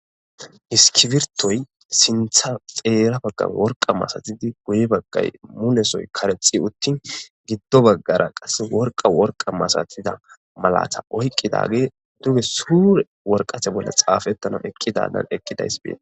iskibirtoy sintha xeera baggan worqa masatidi guyi baggay munesoy karexi uttin giddo baggara qas worqa worqa masatida malata oyqqidage duge suure worqathe bolla xaafettana eqqidadan eqqidays bee